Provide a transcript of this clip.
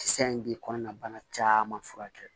Kisɛ in bɛ kɔnɔna bana caman furakɛ